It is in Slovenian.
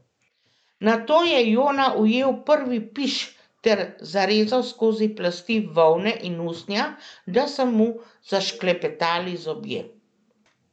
Nato je Jona ujel prvi piš ter zarezal skozi plasti volne in usnja, da so mu zašklepetali zobje.